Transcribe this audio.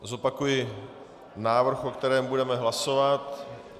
Zopakuji návrh, o kterém budeme hlasovat.